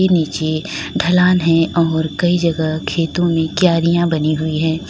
नीचे ढलान है और कई जगह खेतों में क्यारियां बनी हुई है।